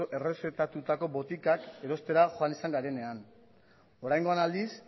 errezetatutako botikak erostera joan izan garenean oraingoan aldiz